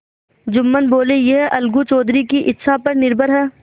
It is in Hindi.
जुम्मन बोलेयह अलगू चौधरी की इच्छा पर निर्भर है